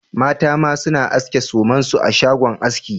Mata ma suna aske sumansu a shagon aski